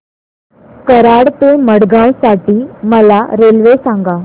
कराड ते मडगाव साठी मला रेल्वे सांगा